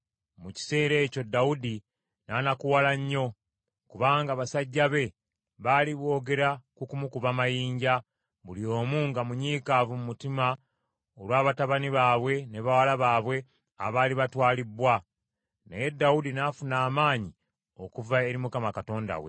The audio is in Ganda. Mu kiseera ekyo Dawudi n’anakuwala nnyo kubanga basajja be baali boogera ku kumukuba amayinja, buli omu nga munyiikaavu mu mutima olwa batabani baabwe ne bawala baabwe abaali batwalibbwa. Naye Dawudi n’afuna amaanyi okuva eri Mukama Katonda we.